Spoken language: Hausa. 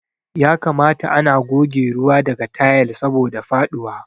Ya kamata ana goge ruwa daga tayal saboda faduwa.